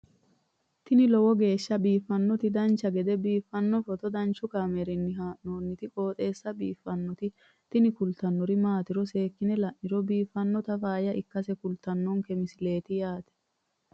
tini lowo geeshsha biiffannoti dancha gede biiffanno footo danchu kaameerinni haa'noonniti qooxeessa biiffannoti tini kultannori maatiro seekkine la'niro biiffannota faayya ikkase kultannoke misileeti yaate